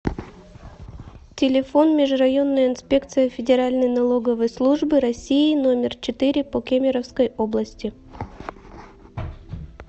телефон межрайонная инспекция федеральной налоговой службы россии номер четыре по кемеровской области